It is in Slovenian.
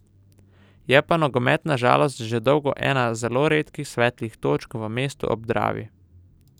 Je pa nogomet na žalost že dolgo ena zelo redkih svetlih točk v mestu ob Dravi.